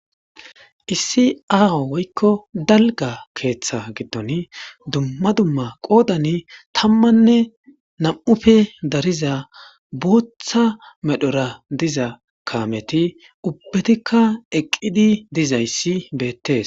Issi aaho woykko dalgga keeththa giddoni dumma dumma qodani tammanne nam'uppe dariza booththa medhdhoradiza kaametti ubettikka eqqidi dizayssi betees